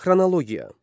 Xronologiya.